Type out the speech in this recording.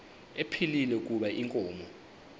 ephilile kuba inkomo